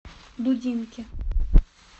дудинки